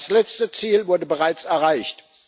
Das letzte Ziel wurde bereits erreicht.